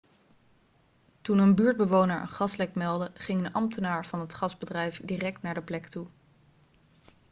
toen een buurtbewoner een gaslek meldde ging een ambtenaar van het gasbedrijf direct naar de plek toe